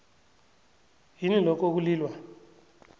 yini lokho ekulilwa